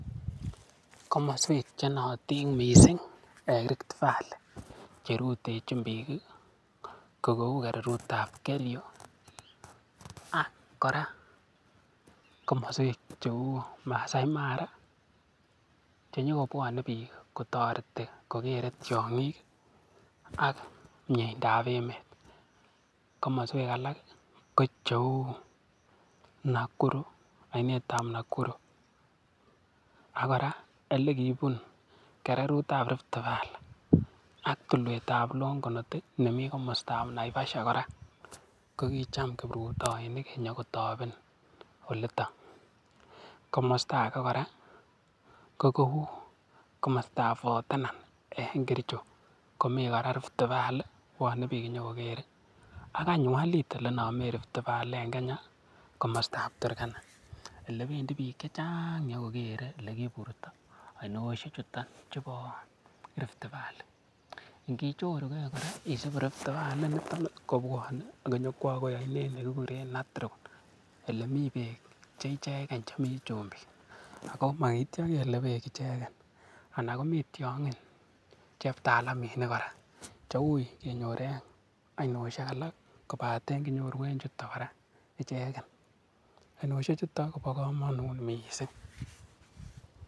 Komoswek che nootin mising en Rift Valley che rutechin biik ko kou kererut ab Kerio ak kora komoswek cheu Maasai Mara che nyo kobwone biik kotoreti kogeere tiong'ik ak mieindab emet. Komoswek alak ko cheu Nakuru, oinetab Nakuru. Ak kora ole kibun kererutab Rift Valley ak tulwetab Longonot nemi komostab Naivasha kora. Kogicham kiprutoinik konyokotoben olito. Komosta age kora ko kou komostab Fort Tenan en Kericho komi kora Rift Valley, bwone biik konyokokere. Ak any walit ole inome Rift Valley en Kenya komostab Turkana ole bendi biik che chang konyo kogere ole kiiburto oinoshek chuto chubo Rift Valley ngichoruge kora isibu Rift Valley inito kobwone konyokwo agoi oinet nekikuren Natron ele mi beek che ichegen chemi chumbik. Ago mogityo kele beek ichegen anan komi tiong'in cheptalaminik kora, cheuiy kenyor en oinioshek alak kobate kinyoru en chuto kora ichegen. AInoshechu kobo komonut mising.